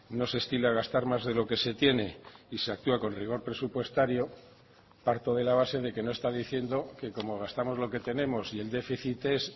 no se estila gastar más de lo que se tiene y se actúa con rigor presupuestario parto de la base de que no está diciendo que como gastamos lo que tenemos y el déficit es